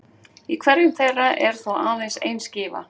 Í hverjum þeirra er þó aðeins ein skífa.